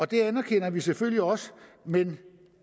det anerkender vi selvfølgelig også men